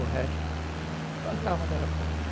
O resto, plantava, mas era pouco.